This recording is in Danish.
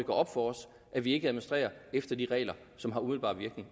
op for os at vi ikke administrerer efter de regler som har umiddelbar virkning